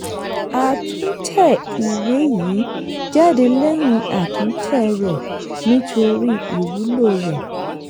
a tún tẹ ìwé yìí jáde lẹ́yìn àtúntẹ̀ rẹ̀ nítorí ìwúlò rẹ̀.